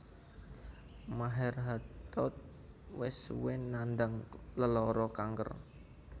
Maher Hathout wis suwé nandhang lelara kanker